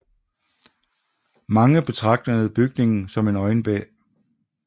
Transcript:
Mange betragtede bygningen som en øjebæ